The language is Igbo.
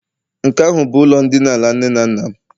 nke ahụ bụ ụlọ ndina ala nne na nna mụ.